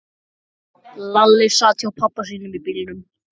Lalli sat hjá pabba sínum í bílnum.